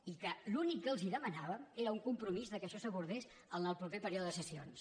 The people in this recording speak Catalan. i l’únic que els demanàvem era un compromís que això s’abordés en el proper període de sessions